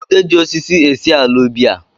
Ude ji osisi esi ala ubi a